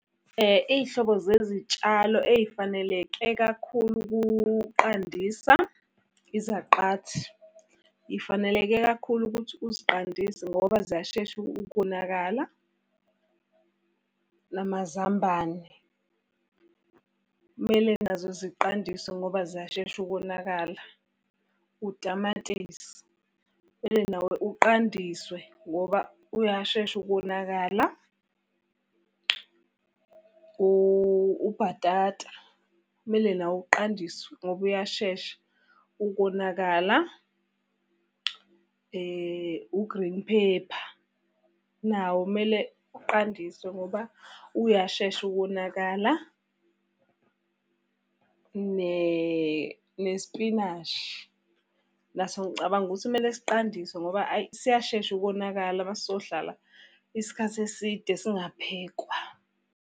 Iy'hlobo zezitshalo ey'faneleke kakhulu ukuqandisa, izaqathi. Iy'faneleke kakhulu ukuthi uziqandise ngoba ziyashesha ukonakala. Namazambane, kumele nazo ziqandiswe ngoba ziyashesha ukonakala. Utamatisi, mele nawo uqandiswe ngoba uyashesha ukonakala. Ubhatata, mele nawo qandiswe ngoba uyashesha ukonakala. Ugreen pepper, nawo kumele uqandiswe ngoba uyashesha ukonakala. Nesipinashi, naso ngicabanga ukuthi kumele siqandiswe ngoba hhayi siyashesha ukonakala uma sizohlala isikhathi eside singaphekwa.